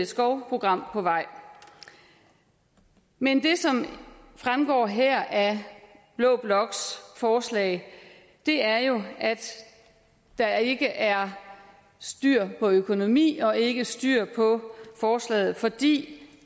skovprogram på vej men det som fremgår her af blå bloks forslag er jo at der ikke er styr på økonomien og ikke styr på forslaget fordi